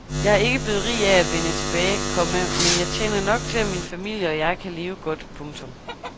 Jeg er ikke blevet rig af at vende tilbage, komma men jeg tjener nok til at min familie og jeg kan leve godt. punktum